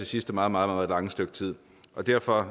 sidste meget meget lange stykke tid derfor